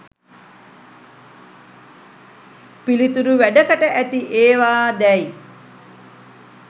පිළිතුරු වැඩකට ඇති ඒවා දැයි